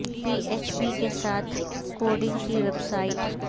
پی H P کے ساتھ coding کی ویب سائٹ